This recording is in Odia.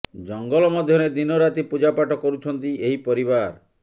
ଜଙ୍ଗଲ ମଧ୍ୟରେ ଦିନ ରାତି ପୂଜାପାଠ କରୁଛନ୍ତି ଏହି ପରିବାର